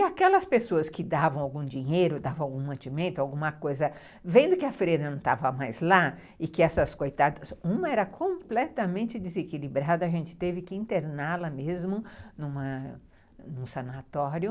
E aquelas pessoas que davam algum dinheiro, davam algum mantimento, alguma coisa, vendo que a freira não estava mais lá e que essas coitadas... Uma era completamente desequilibrada, a gente teve que interná-la mesmo num num sanatório.